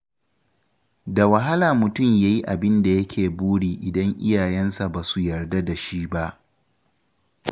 Da wahala mutum ya yi abin da yake buri idan iyayensa ba su yarda da shi ba.